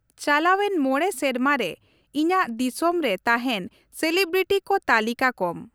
ᱪᱟᱞᱟᱣᱮᱱ ᱢᱚᱬᱮ ᱥᱮᱨᱢᱟ ᱨᱮ ᱤᱧᱟᱹᱜ ᱫᱤᱥᱚᱢ ᱨᱮ ᱛᱟᱦᱮᱱ ᱥᱮᱞᱤᱵᱨᱤᱴᱤ ᱠᱚ ᱛᱟᱹᱞᱤᱠᱟ ᱠᱚᱢ ᱾